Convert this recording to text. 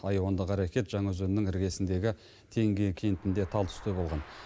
айуандық әрекет жаңаөзеннің іргесіндегі теңге кентінде талтүсте болған